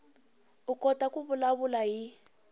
u kota ku vulavula hi